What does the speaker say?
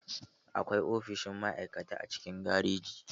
Akwai ofishin ma'aikata a cikin gareji.